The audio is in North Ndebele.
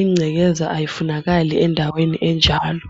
ingcekeza ayifunakali endaweni enjalo.